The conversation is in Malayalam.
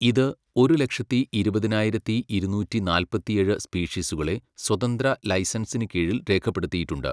ഇത് ഒരു ലക്ഷത്തി ഇരുപതിനായിരത്തി ഇരുനൂറ്റി നാല്പത്തിയേഴ് സ്പീഷീസുകളെ സ്വതന്ത്ര ലൈസൻസിന് കീഴിൽ രേഖപ്പെടുത്തിയിട്ടുണ്ട്.